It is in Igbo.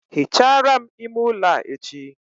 Hichaara m ime ụlọ a echi